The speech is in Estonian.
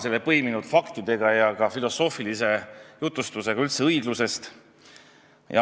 See on põimitud faktidega ja ka filosoofilise jutustusega üldse õiglusest.